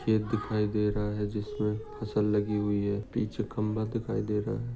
खेत दिखाई दे रहा है जिस पर फसल लगी हुई है पीछे खंबा दिखाई दे रहा है।